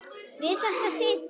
Við þetta situr.